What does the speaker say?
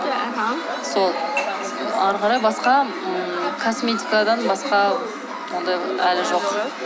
сол әрі қарай басқа ммм косметикадан басқа ондай әлі жоқ